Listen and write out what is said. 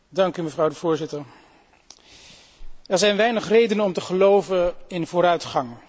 Mevrouw de Voorzitter, er zijn weinig redenen om te geloven in vooruitgang.